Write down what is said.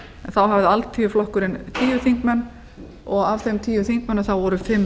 þá hafði alþýðuflokkurinn tíu þingmenn og af þeim tíu þingmönnum voru fimm